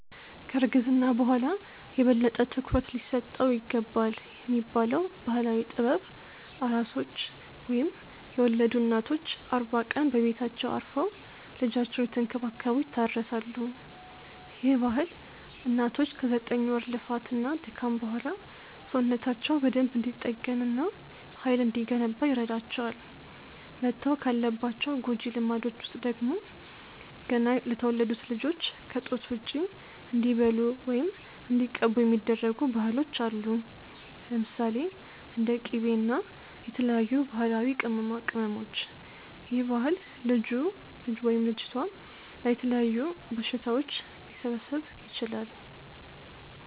ከ እርግዝና በኋላ የበለጠ ትኩረት ሊሰጠው ይገባልብ የሚባለው ባህላዊ ጥበብ፤ ኣራሶች ወይም የወለዱ እናቶች አርባ ቀን በቤታቸው አርፈው ልጃቸውን እየተንከባከቡ ይታረሳሉ፤ ይህ ባህል እናቶች ከ ዘጠኝ ወር ልፋት እና ድካም በኋላ ሰውነታቸው በደንብ እንዲጠገን እና ሃይል እንዲገነባ ይረዳቸዋል። መተው ካለባቸው ጎጂ ልማዶች ውስጥ ደግሞ፤ ገና ለተወለዱት ልጆች ከ ጡት ውጪ እንዲበሉ ወይም እንዲቀቡ የሚደረጉ ባህሎች አሉ። ለምሳሌ፦ እንደ ቂቤ እና የተለያዩ ባህላዊ ቅመማቅመሞች ይህ ባህል ልጁ/ልጅቷ ላይ የተለያዩ በሽታዎች ሊሰበስብ ይችላል